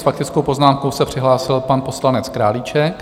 S faktickou poznámkou se přihlásil pan poslanec Králíček.